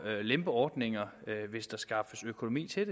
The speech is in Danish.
at lempe ordninger hvis der skaffes økonomi til